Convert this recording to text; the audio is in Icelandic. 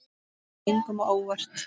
Það kom engum á óvart.